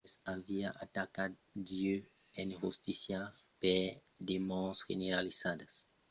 chambers aviá atacat dieu en justícia per de mòrts generalizadas la destruccion e terrorizacion de milions e de millions d'abitants de la tèrra.